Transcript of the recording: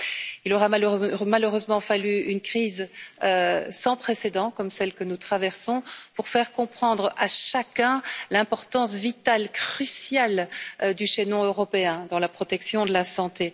Il aura malheureusement fallu une crise sans précédent, comme celle que nous traversons, pour faire comprendre à chacun l'importance vitale, cruciale du chaînon européen dans la protection de la santé.